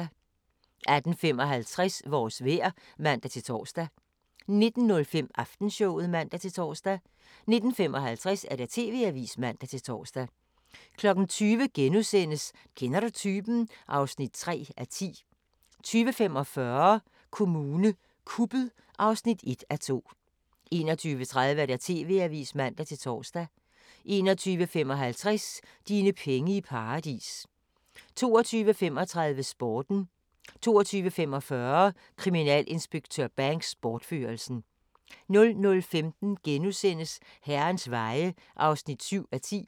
18:55: Vores vejr (man-tor) 19:05: Aftenshowet (man-tor) 19:55: TV-avisen (man-tor) 20:00: Kender du typen? (3:10)* 20:45: Kommune kuppet (1:2) 21:30: TV-avisen (man-tor) 21:55: Dine penge i paradis 22:35: Sporten 22:45: Kriminalinspektør Banks: Bortførelsen 00:15: Herrens Veje (7:10)*